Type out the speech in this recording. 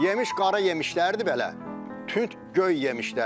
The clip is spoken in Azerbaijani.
Yemiş qara yemişlərdi belə tünd göy yemişlərdi.